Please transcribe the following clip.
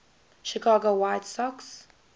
chicago white sox